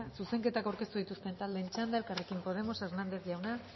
zuzenketak aurkeztu dituzten taldeen txanda elkarrekin podemos hernández jauna